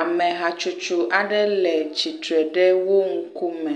Amehatsotso aɖe le tsitre ɖe wo ŋkume.